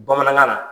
Bamanankan na